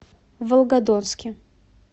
волгодонске